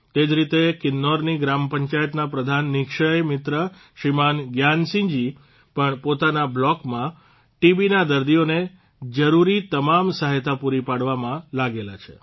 તે જ રીતે કિન્નૌરની ગ્રામપંચાયતના પ્રધાન નિઃક્ષય મિત્ર શ્રીમાન જ્ઞાનસિંહજી પણ પોતાના બ્લોકમાં ટીબીના દર્દીઓને જરૂરી તમામ સહાયતા પૂરી પાડવામાં લાગેલા છે